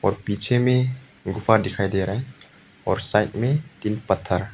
और पीछे में एक गुफा दिखाई दे रहा है और साइड में तीन पत्थर --